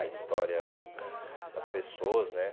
A história das pessoas, né?